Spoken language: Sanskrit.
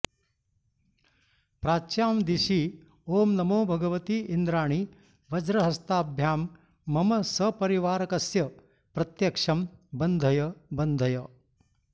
प्राच्यां दिशि ॐ नमो भगवति इन्द्राणि वज्रहस्ताभ्यां मम सपरिवारकस्य प्रत्यक्षं बन्धय बन्धय